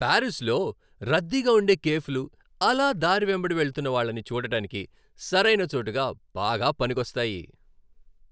పారిస్లో రద్దీగా ఉండే కేఫ్లు అలా దారి వెంబడి వెళ్తున్న వాళ్ళని చూడటానికి సరైన చోటుగా బాగా పనికొస్తాయి.